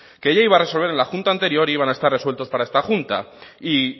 que ya iba a resolver en la junta anterior e iban a estar resueltos para esta junta y